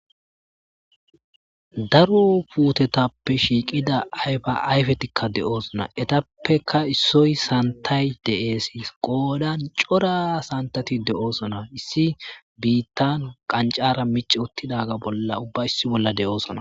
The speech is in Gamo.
Daro putteteppe shiqida ayfa ayfeti de'esona ettappekka issoy santay de'es. Qodan c'ora santeti de'osona. Issi bitta qanc'ara mic'i wottiga ubba issi Bolla de'esona.